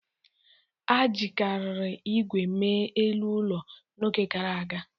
A jikarịrị igwe mee elu ụlọ n'oge gara aga.